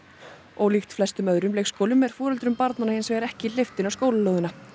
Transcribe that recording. ólíkt flestum öðrum leikskólum er foreldrum barnanna hins vegar ekki hleypt inn á skólalóðina